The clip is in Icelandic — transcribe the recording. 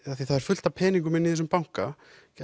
af því það er fullt af peningum inni í þessum banka